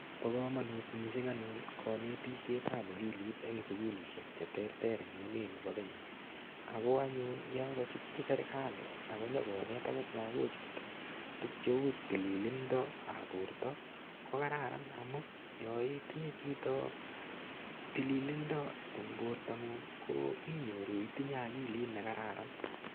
Bo komonut mising anyun konetishet ap akilit eng sukulishek che ter ter eng emeni bi Kenya ako anyun yo kachutchi serikali akonyokonet akot lakochuto tukcheu tililindap borto ko kararan amun yo itinye chito tililindo eng bortangung ko cham inyoru itinye akilit ne kararan.